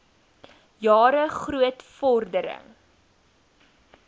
jare groot vordering